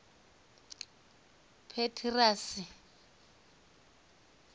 petirasi